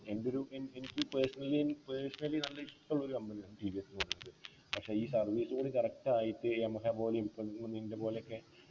എൻ്റെ ഒരു ഏർ ഏർ എനിക്ക് personally എനി personally നല്ല ഇഷ്ടുള്ള ഒരു company ആണ് ടി വി എസ് ന്നു പറയുന്നത് പക്ഷെ ഈ service ഇങ്ങനെ correct ആയിട്ട് യമഹ പോലെയും പ്പോ നിഞ്ജ പോലെയൊക്കെ